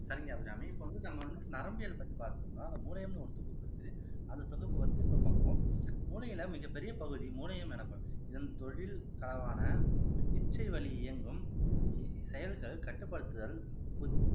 சரிங்க அபிராமி இப்ப வந்து நம்ம வந்து நரம்பியல் பத்தி பார்த்துட்டு இருந்தோம் அந்த தொகுப்பு இருக்கு அந்த தொகுப்பு வந்து இப்ப பார்ப்போம் மூளையில மிகப் பெரிய பகுதி மூணையும் இதன் தொழில் அளவான இச்சை வலி இயங்கும் செயல்கள் கட்டுப்படுத்துதல்